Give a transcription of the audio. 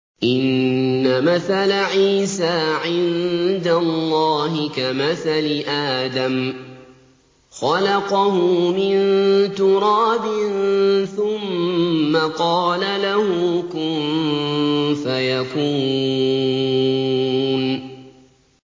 إِنَّ مَثَلَ عِيسَىٰ عِندَ اللَّهِ كَمَثَلِ آدَمَ ۖ خَلَقَهُ مِن تُرَابٍ ثُمَّ قَالَ لَهُ كُن فَيَكُونُ